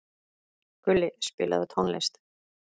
Gulli, spilaðu tónlist.